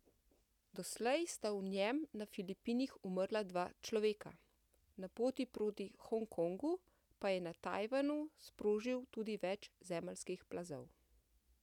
Doslej sta v njem na Filipinih umrla dva človeka, na poti proti Hong Kongu pa je na Tajvanu sprožil tudi več zemeljskih plazov.